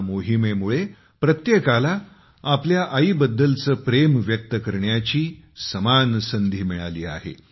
या मोहिमेमुळे प्रत्येकाला आपल्या आईबद्दलचे प्रेम व्यक्त करण्याची समान संधी मिळाली आहे